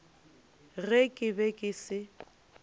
ge ke be ke se